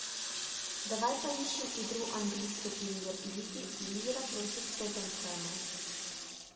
давай поищем игру английской премьер лиги ливера против тоттенхэма